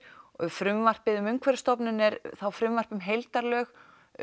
frumvarpið um Umhverfisstofnun er þá frumvarp um heildarlög